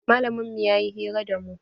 Malamin mu ya yi hira da mu.